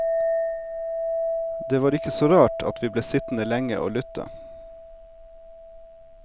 Det var ikke så rart at vi ble sittende lenge å lytte.